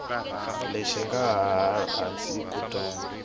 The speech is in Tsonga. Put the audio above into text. lexi nga laha hansi kutani